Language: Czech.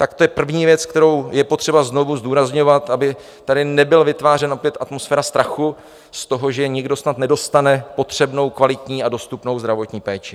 Tak to je první věc, kterou je potřeba znova zdůrazňovat, aby tady nebyla vytvářena opět atmosféra strachu z toho, že někdo snad nedostane potřebnou, kvalitní a dostupnou zdravotní péči.